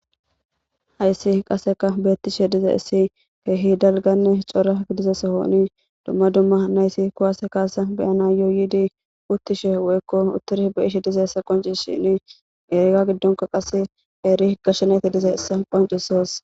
Hayssi qaseka beettishe diza issi keehi dalganne cora gidizesohooni dumma dumma naysi kuwase kaase beyana yooyidi uttishe woykko utturi be ishe diza ssa qoncishini eriga giddonka qase eeri gash nayti diza issa qoncisos